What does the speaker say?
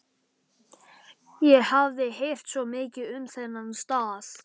Ég hafði heyrt svo mikið um þennan stað.